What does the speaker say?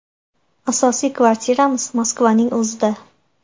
Asosiy kvartiramiz Moskvaning o‘zida.